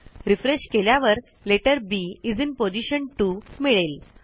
refresh केल्यावर letter B is in position 2 मिळेल